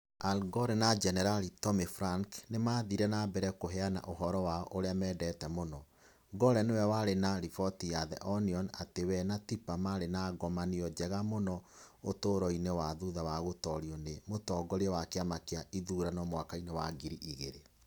Al Gore na Jenerali Tommy Franks nĩ maathire na mbere kũheana ũhoro wao ũrĩa mendete mũno (Gore nĩ we warĩ na riboti ya The Onion atĩ we na Tipper maarĩ na ngomanio njega mũno ũtũũro-inĩ wao thutha wa gũtoorio nĩ mũtongoria wa kĩama kĩa ithurano mwaka wa ngiri igĩrĩ).